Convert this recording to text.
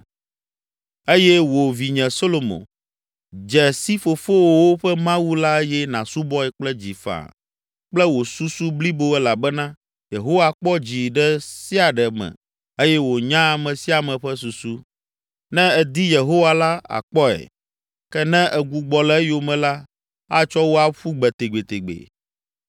“Eye wò, vinye Solomo, dze si fofowòwo ƒe Mawu la eye nàsubɔe kple dzi faa kple wò susu blibo elabena Yehowa kpɔa dzi ɖe sia ɖe me eye wònyaa ame sia ame ƒe susu. Ne èdi Yehowa la, àkpɔe, ke ne ègbugbɔ le eyome la, atsɔ wò aƒu gbe tegbetegbe.